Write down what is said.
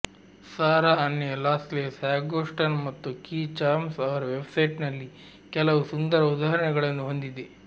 Sara Anne Lawless hagstone ಮತ್ತು key charms ಅವರ ವೆಬ್ಸೈಟ್ನಲ್ಲಿ ಕೆಲವು ಸುಂದರ ಉದಾಹರಣೆಗಳನ್ನು ಹೊಂದಿದೆ